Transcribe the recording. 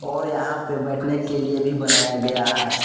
और यहां पे बैठने के लिए भी बनाया गया है।